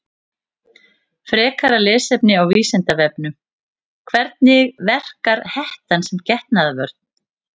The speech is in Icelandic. Frekara lesefni á Vísindavefnum: Hvernig verkar hettan sem getnaðarvörn?